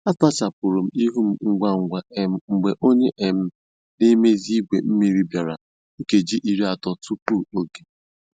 A sachapụrụ m ihu m ngwa ngwa um mgbe onye um na-emezi igwe mmiri bịara nkeji iri atọ tupu oge